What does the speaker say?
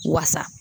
Wasa